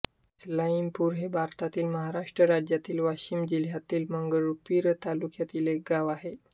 इस्माईलपूर हे भारतातील महाराष्ट्र राज्यातील वाशिम जिल्ह्यातील मंगरुळपीर तालुक्यातील एक गाव आहे